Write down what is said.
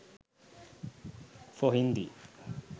for hindi